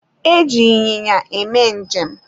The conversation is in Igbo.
E ji ịnyịnya eme njem